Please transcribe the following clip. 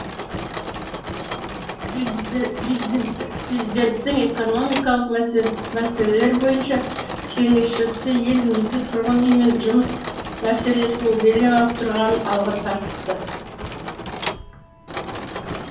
президенттің экономикалық мәселелер бойынша кеңесшісі елімізде тұрғын үй мен жұмыс мәселесінің белең алып тұрғанын алға тартты